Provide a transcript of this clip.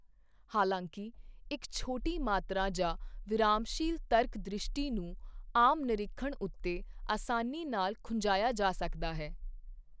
ਹਾਲਾਂਕਿ, ਇੱਕ ਛੋਟੀ ਮਾਤਰਾ ਜਾਂ ਵਿਰਾਮਸ਼ੀਲ ਤਰਕ ਦ੍ਰਿਸ਼ਟੀ ਨੂੰ ਆਮ ਨਿਰੀਖਣ ਉੱਤੇ ਅਸਾਨੀ ਨਾਲ ਖੁੰਝਾਇਆ ਜਾ ਸਕਦਾ ਹੈ।